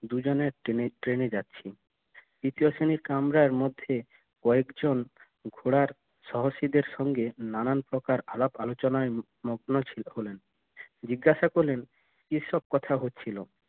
দুই জনে ট্রেনে যাচ্ছি তৃতীয় শ্রেণীর কামড়া মধ্যে কয়েকজন ঘোড়ার সাহসীদের সঙ্গে নানান প্রকার আলাপ আলোচনায় মগ্ন ছিল হলেন জিজ্ঞাসা করলেন কি সব কথা হচ্ছিল